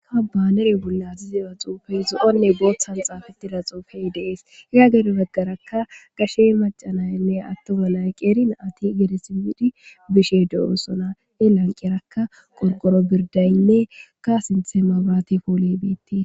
Kabanere bullazizera xuufey zo7onne booththan xaafatida xuufey deees ira gede baggarakka gashe macanaynne attoga layqeerin ati gedesibidi bishe do7oosona e lanqerakka qorqoro birdaynne ka sinthe mabaate poole biitti.